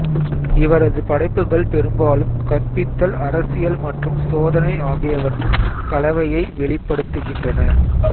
இவரது படைப்புகள் பெரும்பாலும் கற்பித்தல் அரசியல் மற்றும் சோதனை ஆகியவற்றின் கலவையை வெளிப்படுத்துகின்றன